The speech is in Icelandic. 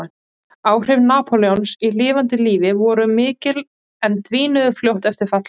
Áhrif Napóleons í lifanda lífi voru mikil en dvínuðu fljótt eftir fall hans.